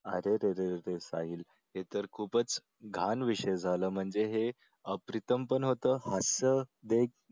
अरेरे साहिल हे तर खूपच लहान विषय झाला म्हणजे हे अप्रतिम कोण होतं हास्य हे